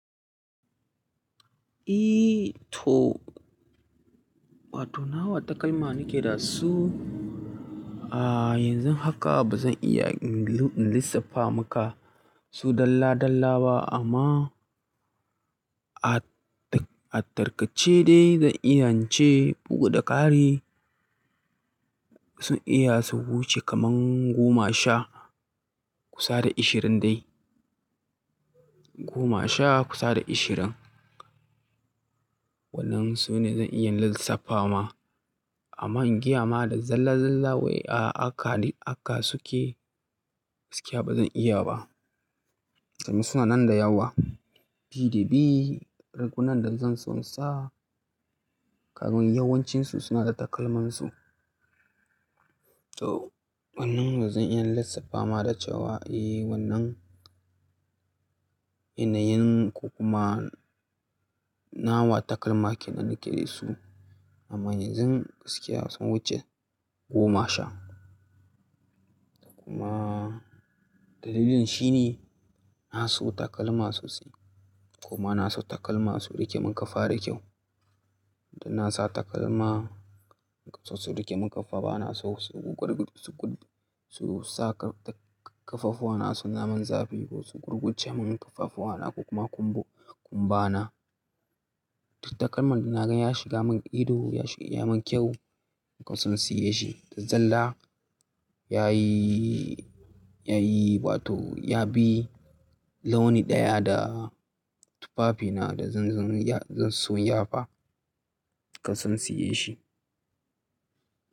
Eh to, wato nawa takalma nake da su? Ah yanzun haka ba zan iya in lissafa maka su dalla dalla ba amma a tarkace dai zan iya ce bugu da ƙari sun iya su wuce kaman goma sha kusa da ashirin dai. Goma sha kusa da ashirin. Wannan sune zan iya lissafa ma amma ingiya ma da zalla zallawai haka suke gaskiya ba zan iya ba. Domin suna nan da yawa. Bidi dabi, rigunan da zan so in sa, kafin yawancinsu suna da takalmansu. To wannan bazan iya lissafa ma da cewa eh wannan yanayin ko kuma nawa takalma kenan nake da su amma yanzun gaskiya sun wuce goma sha. Kuma dalilin shi ne na so takalma sosai. Kuma na so takalma su rike mun kafa da kyau. Dan na sa takalma sosai su rike mun kafa ba na so su gurguje su sa kafafuwana su zama zafi ko su gurguje mun kafafuwana ko kuma kumbana. Duk takalman da naga ya shiga mun ido ya yi mun kyau in kasance shi. Da zalla yayi wato ya bi launi ɗaya da tufafina da zan so ya fa in kasansiye shi.